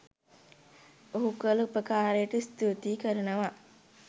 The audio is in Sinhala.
ඔහු කල උපකාරයට ස්තූති කරනවා